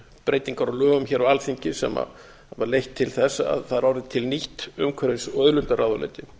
breytingar á lögum hér á alþingi sem hafa leitt til þess að það er orðið til nýtt umhverfis og auðlindaráðuneyti